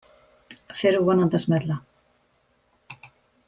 Fer vonandi að smella